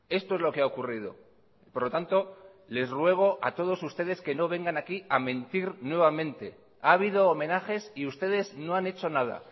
esto es lo que ha ocurrido por lo tanto les ruego a todos ustedes que no vengan aquí a mentir nuevamente ha habido homenajes y ustedes no han hecho nada